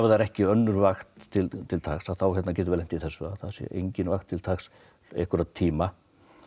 það er ekki önnur vakt til taks þá getum við lent í þessu að það sé engin vakt til taks einhverja tíma